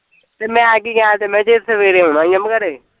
ਤੇ ਮੈਂ ਕੀ ਕਿਹਾਂ ਸੀ ਮੈਂ ਜਦ ਸਵੇਰੇ ਆਉਣਾ ਈ ਮੈਂ ਘਰੇ